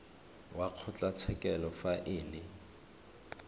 wa kgotlatshekelo fa e le